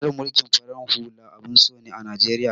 Tsarin mulkin farar hula abun so ne a Najeriya.